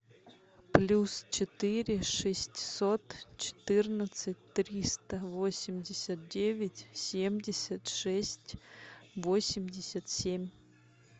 плюс четыре шестьсот четырнадцать триста восемьдесят девять семьдесят шесть восемьдесят семь